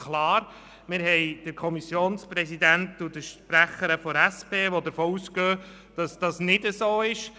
Wir haben den Kommissionspräsidenten und die Sprecherin der SP-JUSOPSA-Fraktion, die davon ausgehen, dass dies nicht so ist.